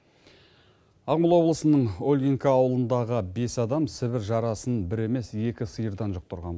ағмола облысының ольгинка аулындағы бес адам сібір жарасын бір емес екі сиырдан жұқтырған